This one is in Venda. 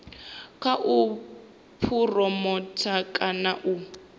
kha u phuromotha kana u